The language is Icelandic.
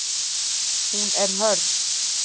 Hún er hörð.